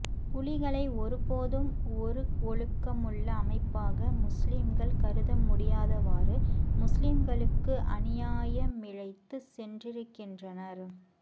புலிகளை ஒருபோதும் ஒருஒழுக்கமுள்ள அமைப்பாக முஸ்லிம்கள் கருத முடியாதவாறு முஸ்லிம்களுக்கு அநியாயமிழைத்துச் சென்றிருக்கின்றனா்ஃ